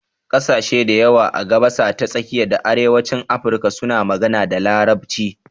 Ƙasashe dayawa a gabasa ta tsakiya da arewacin Afirka suna magana da Larabci.